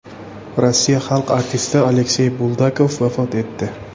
Rossiya xalq artisti Aleksey Buldakov vafot etdi.